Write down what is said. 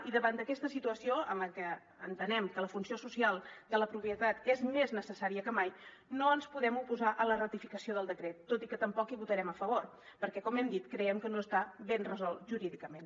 i davant d’aquesta situació en la que entenem que la funció social de la propietat és més necessària que mai no ens podem oposar a la ratificació del decret tot i que tampoc hi votarem a favor perquè com hem dit creiem que no està ben resolt jurídicament